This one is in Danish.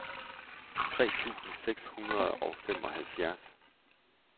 tres tusind seks hundrede og femoghalvfjerds